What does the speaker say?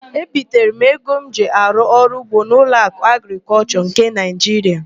Ebitere m ego m ji arụ ọrụugbo n'Ụlọakụ Agrịkọlshọ nke Naịjiria.